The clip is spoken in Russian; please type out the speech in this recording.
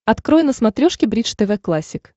открой на смотрешке бридж тв классик